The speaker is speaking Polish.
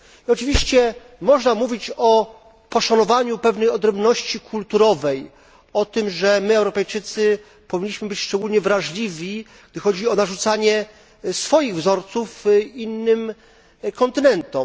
Oczywiście można mówić o poszanowaniu pewnej odrębności kulturowej, o tym, że my Europejczycy powinniśmy być szczególnie wrażliwi, gdy chodzi o narzucanie swoich wzorców innym kontynentom.